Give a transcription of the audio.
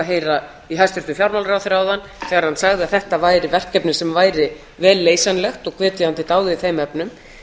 heyra í hæstvirtum fjármálaráðherra áðan þegar hann sagði að þetta væri verkefni sem væri vel leysanlegt og hvet ég hann til dáða í þeim efnum